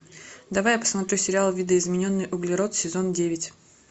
давай я посмотрю сериал видоизмененный углерод сезон девять